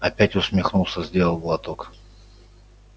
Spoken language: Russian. опять усмехнулся сделал глоток